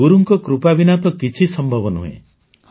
ଗୁରୁଙ୍କ କୃପା ବିନା ତ କିଛି ସମ୍ଭବ ନୁହେଁ